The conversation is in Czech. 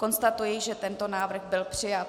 Konstatuji, že tento návrh byl přijat.